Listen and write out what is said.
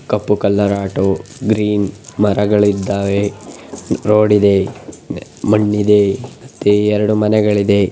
ಕಪ್ಪು colour auto green ಮರಗಳಿದ್ದಾವೆ. Road ಇದೆ. ಮಣ್ಣಿದೆ. ತೇ ಯರಡ ಮನೆಗಲಳಿದೆ.